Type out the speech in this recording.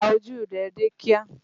Pa ojú rẹ dé kíá!